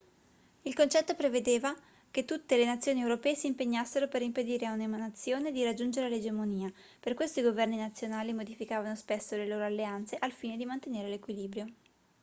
il concetto prevedeva che tutte le nazioni europee si impegnassero per impedire a una nazione di raggiungere l'egemonia per questo i governi nazionali modificavano spesso le loro alleanze al fine di mantenere l'equilibrio